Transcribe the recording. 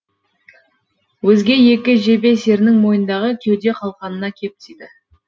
өзге екі жебе серінің мойнындағы кеуде қалқанына кеп тиді